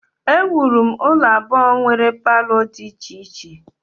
Ewuru m ụlọ abụọ nwere palọ dị iche iche